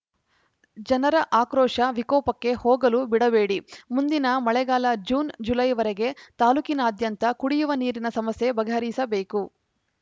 ಜನರ ಆಕ್ರೋಶ ವಿಕೋಪಕ್ಕೆ ಹೋಗಲು ಬಿಡಬೇಡಿ ಮುಂದಿನ ಮಳೆಗಾಲ ಜೂನ್‌ ಜುಲೈವರೆಗೆ ತಾಲೂಕಿನಾದ್ಯಂತ ಕುಡಿಯುವ ನೀರಿನ ಸಮಸ್ಯೆ ಬಗೆಹರಿಸಬೇಕು